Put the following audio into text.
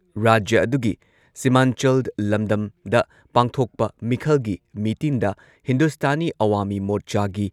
ꯔꯥꯖ꯭ꯌ ꯑꯗꯨꯒꯤ ꯁꯤꯃꯟꯆꯜ ꯂꯝꯗꯝꯗ ꯄꯥꯡꯊꯣꯛꯄ ꯃꯤꯈꯜꯒꯤ ꯃꯤꯇꯤꯟꯗ ꯍꯤꯟꯗꯨꯁꯇꯥꯅꯤ ꯑꯋꯥꯃꯤ ꯃꯣꯔꯆꯥꯒꯤ